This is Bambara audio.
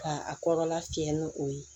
Ka a kɔrɔla fiyɛ ni o ye